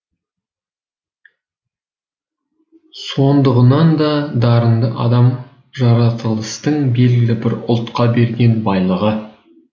сондығынан да дарынды адам жаратылыстың белгілі бір ұлтқа берген байлығы